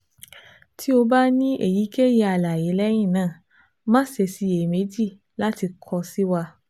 Ti o ba ni eyikeyi alaye lẹhinna ma ṣe ṣiyemeji lati kọ si wa